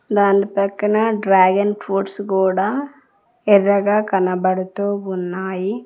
దాని పక్కన dragon fruits కూడా ఎర్రగా కనబడుతూ ఉన్నాయి.